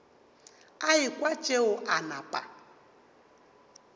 a ekwa tšeo a napa